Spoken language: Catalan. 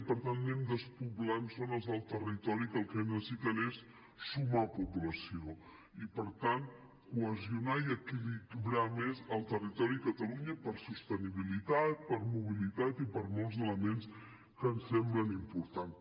per tant anem despoblant zones del territori que el que necessiten és sumar població i per tant cohesionar i equilibrar més el territori de catalunya per sostenibilitat per mobilitat i per molts elements que ens semblen importants